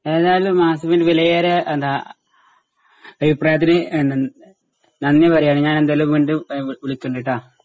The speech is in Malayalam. ഏതായാലും വിലയേറിയ ഏഹ് എന്താ അഭിപ്രായത്തിന് ഏഹ് ന നന്ദി പറയാണ് ഞാനെന്തായാലും വീണ്ടും ഏഹ് വിളിക്കണ്ട് ട്ടാ.